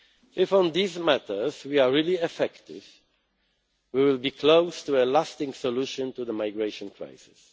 If on these matters we are really effective, we will be close to a lasting solution to the migration crisis.